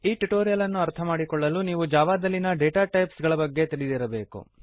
ಈ ಟ್ಯುಟೋರಿಯಲ್ ಅನ್ನು ಅರ್ಥಮಾಡಿಕೊಳ್ಳಲು ನೀವು ಜಾವಾದಲ್ಲಿನ ಡಾಟಾ ಟೈಪ್ಸ್ ಗಳ ಬಗ್ಗೆ ತಿಳಿದಿರಬೇಕು